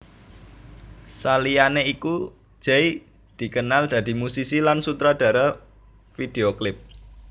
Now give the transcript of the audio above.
Saliyane iku Jay dikenal dadi musisi lan sutradara video klip